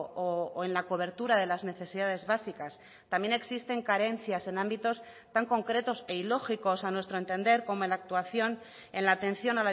o en la cobertura de las necesidades básicas también existen carencias en ámbitos tan concretos e ilógicos a nuestro entender como en la actuación en la atención